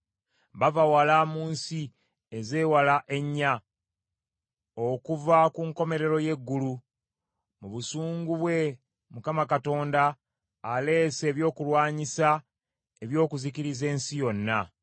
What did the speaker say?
Bava wala mu nsi ezeewala ennya okuva ku nkomerero y’eggulu. Mu busungu bwe Mukama Katonda aleese ebyokulwanyisa eby’okuzikiriza ensi yonna.